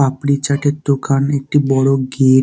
পাপড়ি চ্যাটে র দোকান একটি বড় গেট ।